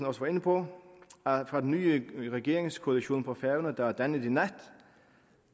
også var inde på fra den nye regeringskoalition på færøerne der er dannet i nat